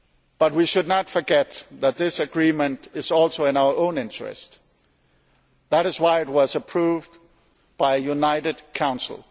But we should not forget that this agreement is also in our own interest. That is why it was approved unanimously by the Council.